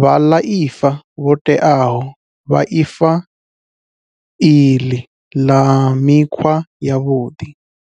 vhaḽaifa vho teaho vha ifa iḽi ḽa mikhwa yavhuḓi.